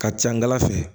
Ka ca n gala fɛ